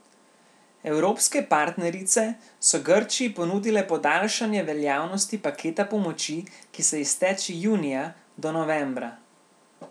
Evropske partnerice so Grčiji ponudile podaljšanje veljavnosti paketa pomoči, ki se izteče junija, do novembra.